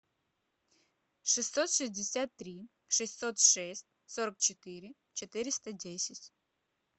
шестьсот шестьдесят три шестьсот шесть сорок четыре четыреста десять